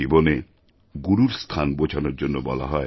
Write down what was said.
জীবনে গুরুর স্থান বোঝানোর জন্য বলা হয়